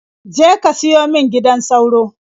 Je ka siyo min gidan sauro.